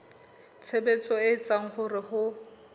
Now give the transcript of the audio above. tshebetso e etsang hore ho